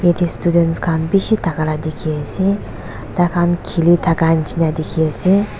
yatey students khan bishi thaka la dikhi ase taikhan khili thaka nishina dikhi ase.